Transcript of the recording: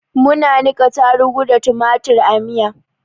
Muna niƙa tarugu da tumatur a yi miya.